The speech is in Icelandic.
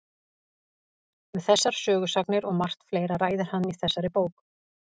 Um þessar sögusagnir og margt fleira ræðir hann í þessari bók.